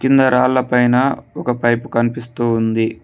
కింద రాళ్ల పైన ఒక పైపు కనిపిస్తూ ఉంది.